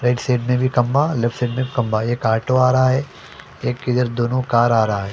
Right side में भी खंभा लेफ्ट साइड में खंभा एक ऑटो आ रहा है एक इधर दोनों कार आ रा ए।